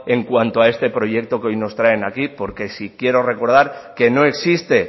en cuanto a este proyecto que hoy nos traen aquí porque sí quiero recordar que no existe